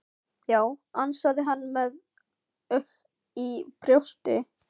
Já, ansaði hann með ugg í brjósti.